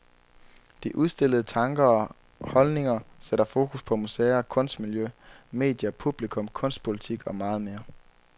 De udstillede tanker og hopldninger sætter fokus på museer, kunstmiljø, medier, publikum, kunstpolitik og meget mere.